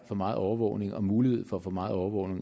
for meget overvågning og mulighed for for meget overvågning